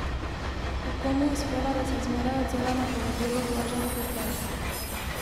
Kako mu uspeva, da se zmeraj odzove na povabilo Blaža Trupeja?